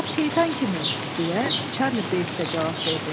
Lap şeytan kimi, deyə Çarli Beyts də cavab verdi.